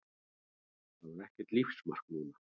Það var ekkert lífsmark núna.